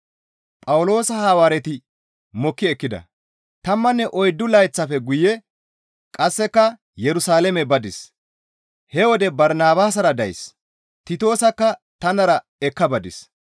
Tammanne oyddu layththafe guye qasseka Yerusalaame badis; he wode Barnabaasara days; Titoosakka tanara ekka badis.